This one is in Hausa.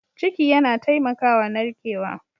Ciki yana taimakawa narkewa.